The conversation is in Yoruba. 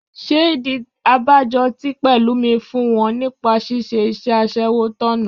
Ṣé ìdí abájọ tí Pẹ̀lúmi fún wọn nípa ṣíṣe iṣẹ́ aṣẹ́wó tọ̀nà?